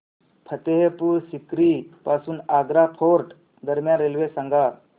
फतेहपुर सीकरी पासून आग्रा फोर्ट दरम्यान रेल्वे सांगा